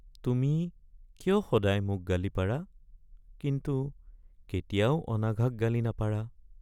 তুমি কিয় সদায় মোক গালি পাৰা কিন্তু কেতিয়াও অনাঘাক গালি নাপাৰা?